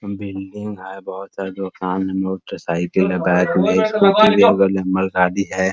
Building है । बहुत सारी दुकान में मोटरसाइकिल है बैक में स्कूटी है नंबर गाडी है |